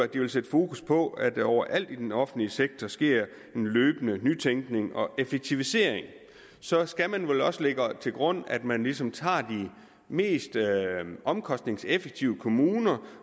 den vil sætte fokus på at der overalt i den offentlige sektor sker en løbende nytænkning og effektivisering så skal vi vel også lægge til grund at man ligesom tager de mest omkostningseffektive kommuner